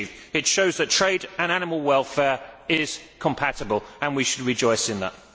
It shows that trade and animal welfare are compatible and we should rejoice in that.